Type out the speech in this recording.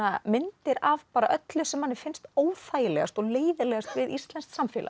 myndir af öllu sem manni finnst óþægilegast og leiðinlegast við íslenskt samfélag